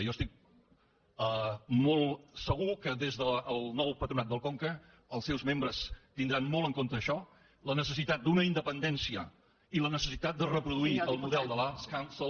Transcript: jo estic molt segur que des del nou patronat del conca els seus membres tindran molt en compte això la necessi·tat d’una independència i la necessitat de reproduir el model de l’arts council